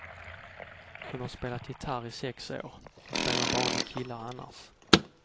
Hon har spelat gitarr i sex år, och spelar bara med killar annars.